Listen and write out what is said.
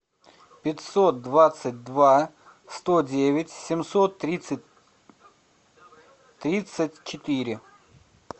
пятьсот двадцать два сто девять семьсот тридцать тридцать четыре